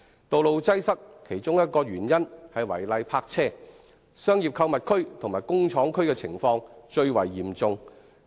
道路擠塞的其中一個原因是違例泊車，商業購物區和工廠區的情況尤為嚴重。